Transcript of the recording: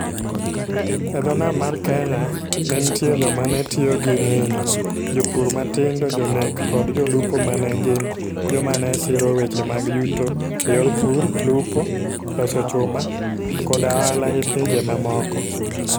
E dho nam mar Kenya, ne nitie joma ne tiyo gi nyinyo, jopur matindo, jonek, koda jolupo ma ne gin joma ne siro weche mag yuto e yor pur, lupo, loso chuma, koda ohala gi pinje mamoko.